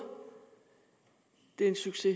det er en succes